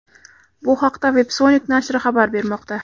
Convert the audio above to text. Bu haqda Websonic nashri xabar bermoqda .